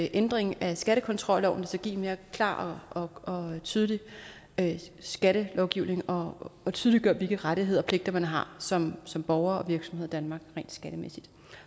ændringen af skattekontrolloven der skal give en mere klar og tydelig skattelovgivning og tydeliggøre hvilke rettigheder og pligter man har som som borger og virksomhed i danmark rent skattemæssigt